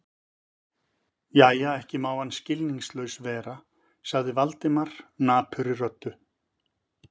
Jæja, ekki má hann skilningslaus vera sagði Valdimar napurri röddu.